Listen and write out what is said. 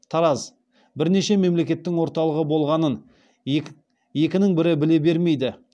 тараз бірнеше мемлекеттің орталығы болғанын екінің бірі біле бермейді